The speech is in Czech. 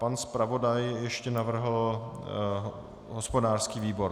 Pan zpravodaj ještě navrhl hospodářský výbor.